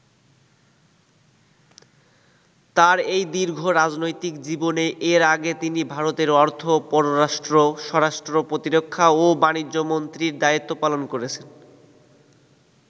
তার এই দীর্ঘ রাজনৈতিক জীবনে এর আগে তিনি ভারতের অর্থ, পররাষ্ট্র, স্বরাষ্ট্র, প্রতিরক্ষা ও বাণিজ্যমন্ত্রীর দায়িত্ব পালন করেছেন।